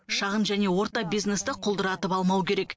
шағын және орта бизнесті құлдыратып алмау керек